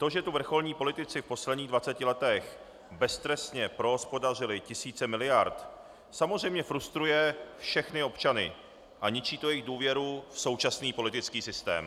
To, že tu vrcholní politici v posledních 20 letech beztrestně prohospodařili tisíce miliard, samozřejmě frustruje všechny občany a ničí to jejich důvěru v současný politický systém.